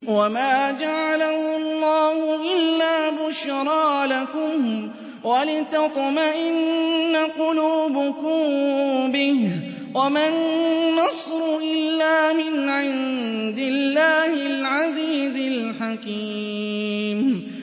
وَمَا جَعَلَهُ اللَّهُ إِلَّا بُشْرَىٰ لَكُمْ وَلِتَطْمَئِنَّ قُلُوبُكُم بِهِ ۗ وَمَا النَّصْرُ إِلَّا مِنْ عِندِ اللَّهِ الْعَزِيزِ الْحَكِيمِ